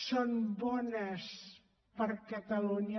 són bones per a catalunya